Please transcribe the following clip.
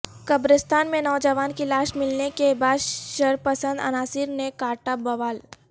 قبرستان میں نوجوان کی لاش ملنے کے بعد شرپسند عناصر نے کا ٹا بوال